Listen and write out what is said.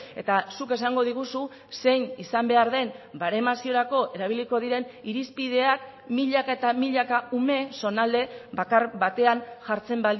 eta zuk esango diguzu zein izan behar den baremaziorako erabiliko diren irizpideak milaka eta milaka ume zonalde bakar batean jartzen